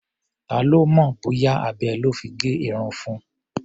Ta ló mọ̀ bóyá abẹ lọ́ fi gé irun fun?